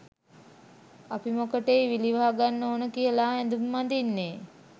අපි මොකටෙයි විලි වහගන්න ඕන කියාලා ඇදුම් අදින්නේ?